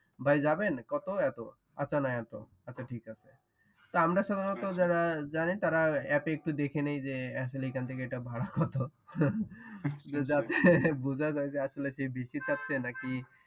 ভাই যাবেন কতো এতো আচ্ছা না এতো আচ্ছা ঠিক আছে আমরা সাধারণত যারা জানি তারা অ্যাপে একটু দেখেনি যে আসলে এইখান থেকে এইটার ভাড়া কতো যাতে বুঝা যায় যে সে আসলে বেশি চাচ্ছে নাকি